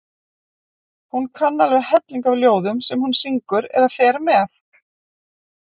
Hún kann alveg helling af ljóðum sem hún syngur eða fer með.